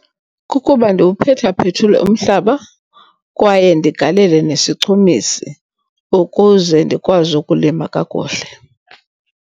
Kukuba ndiwuphethaphethule umhlaba kwaye ndigalele nesichumisi ukuze ndikwazi ukulima kakuhle.